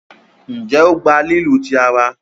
njé o gbà lílu tí àrà.